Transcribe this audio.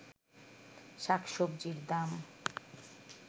শাক-সবজির দাম